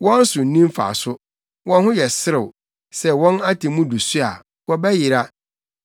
Wɔn so nni mfaso, wɔn ho yɛ serew; sɛ wɔn atemmu du so a, wɔbɛyera.